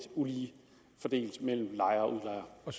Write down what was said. ulige fordelt mellem lejer og